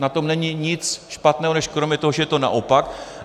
Na tom není nic špatného než kromě toho, že je to naopak.